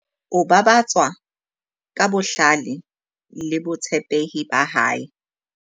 O babatswa ka bohlale le botshepehi ba hae.